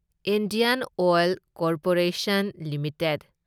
Indian Oil Corporation limited